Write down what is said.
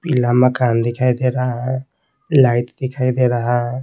पीला मकान दिखाई दे रहा है लाइट दिखाई दे रहा है।